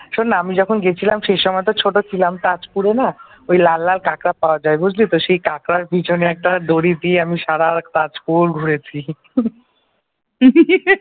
শোন না আমি যখন গেছিলাম সেই সময় তো অনেক ছোট ছিলাম ওই তাজপুরে না ওই লাল লাল কাঁকড়া পাওয়া যায় বুঝলি তো সেই কাঁকড়ার পেছনে একটা দড়ি দিয়ে আমি সারা তাজপুর ঘুরেছি